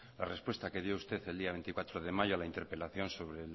la respuesta que dio usted el día veinticuatro de mayo a la interpelación sobre